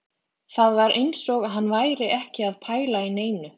Það var eins og hann væri ekki að pæla í neinu